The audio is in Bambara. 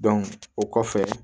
o kɔfɛ